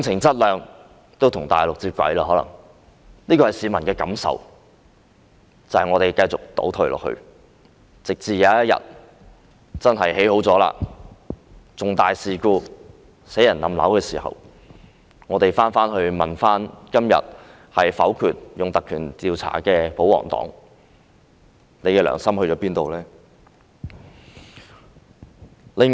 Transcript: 這是市民的感受，也就是香港繼續倒退，直至有一天沙中線完成興建，發生重大事故而導致人命傷亡，市民會問今天否決引用《條例》進行調查的保皇黨，你們的良心在哪裏？